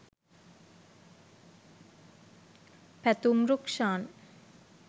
pathum rukshan